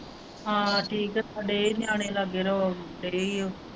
ਹਾਂ ਠੀਕ ਹੈ ਸਾਡੇ ਵੀ ਨਿਆਣੇ ਲਾਗੇ .